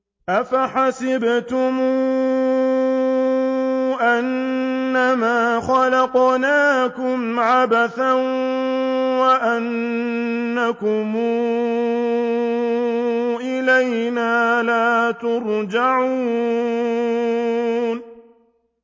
أَفَحَسِبْتُمْ أَنَّمَا خَلَقْنَاكُمْ عَبَثًا وَأَنَّكُمْ إِلَيْنَا لَا تُرْجَعُونَ